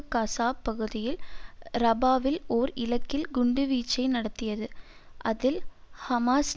கசாப் பகுதியில் ரபாவில் ஓர் இலக்கில் குண்டுவீச்சை நடத்தியது அதில் ஹமாஸ்